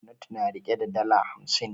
Hannatu na rike da dala hamsin.